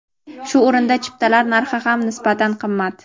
Shu o‘rinda chiptalar narxi ham nisbatan qimmat.